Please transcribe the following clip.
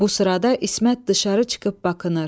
Bu sırada İsmət dışarı çıxıb bakınır.